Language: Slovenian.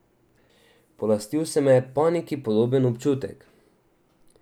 Polastil se me je paniki podoben občutek.